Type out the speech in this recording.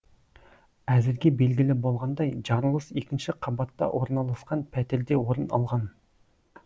әзірге белгілі болғандай жарылыс екінші қабатта орналасқан пәтерде орын алған